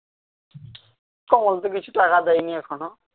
কমল তো বেশি টাকা দেয়নি এখনও